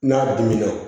N'a dunmina